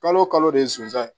Kalo o kalo de ye sunjaan ye